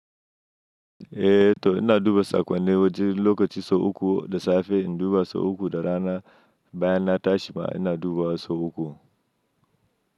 Eh to ina duba sakon da waje lokacin sau uku da safe, in duba sau uku da rana bayan na tashi ma ina duba sau uku.